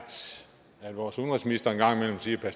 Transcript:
at vores udenrigsminister en gang imellem siger at